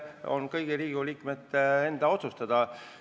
See on kõigi Riigikogu liikmete otsustada.